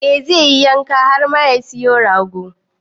Eh zai yi yanka har ma ya siyo rago.